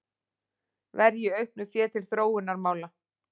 Verji auknu fé til þróunarmála